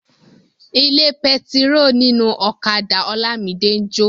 Ilé pẹtiró ninu ọ̀kadà Olamide n jo.